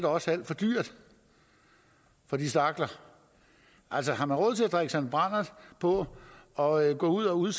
også er alt for dyrt for de stakler altså har man råd til at drikke sig en brandert på og gå ud ud